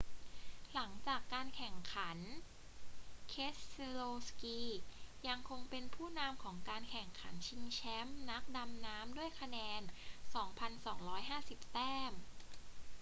หลังจากการแข่งขัน keselowski ยังคงเป็นผู้นำของการแข่งขันชิงแชมป์นักดำน้ำด้วยคะแนน 2,250 แต้ม